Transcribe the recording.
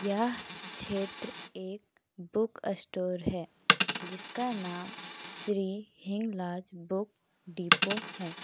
यह क्षेत्र एक बुक स्टोर है जिसका नाम श्री हिंगलाज बुक डिपो है।